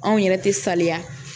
Anw yɛrɛ tɛ saliya